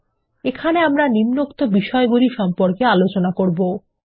এবং আমরা এখানে নিম্নোক্ত বিষয়গুলি সম্পর্কে আলোচনা করবো160 7